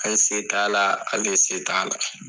An se t'a la, k'ale se t'a la!